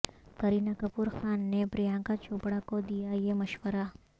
کرینہ کپور خان نے پرینکا چوپڑا کو دیا یہ مشورہ